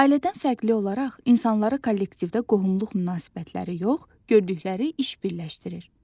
Ailədən fərqli olaraq insanları kollektivdə qohumluq münasibətləri yox, gördükləri iş birləşdirir.